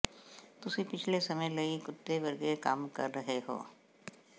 ਤੁਸੀਂ ਪਿਛਲੇ ਸਮੇਂ ਲਈ ਕੁੱਤੇ ਵਰਗੇ ਕੰਮ ਕਰ ਰਹੇ ਹੋ